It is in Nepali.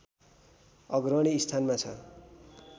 अग्रणी स्थानमा छ